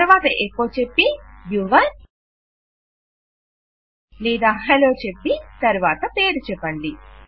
తరువాత ఎకొ చెప్పి యువర్ లేదా హలో చెప్పి తరువాత పేరు చెప్పండి